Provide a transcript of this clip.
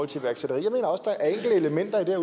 til iværksætteri jeg mener at der